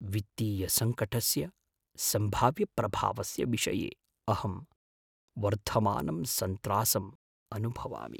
वित्तीयसङ्कटस्य सम्भाव्यप्रभावस्य विषये अहं वर्धमानं सन्त्रासम् अनुभवामि।